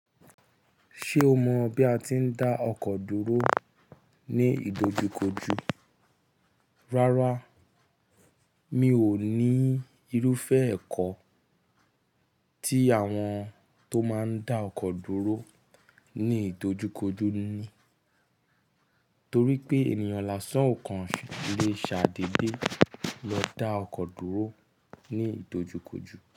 Ṣé o mọ bí a ti ń dá ọkọ̀ dúró ní ìdojúkojú? Rárá, mi ò ní irúfẹ́ ẹ̀kọ́ tí àwọn tó máa ń dá ọkọ̀ dúró ní ìdojúkojú ni. Torí pé ènìyàn lásán ò kan lè ṣàdédé lọ dá ọkọ̀ dúró ní ìdojúkojú.